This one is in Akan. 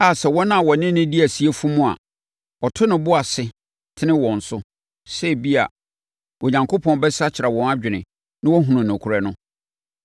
a sɛ wɔn a wɔne no di asie fom a, ɔto ne bo ase tene wɔn so, sɛ ebia, Onyankopɔn bɛsakyera wɔn adwene na wɔahunu nokorɛ no.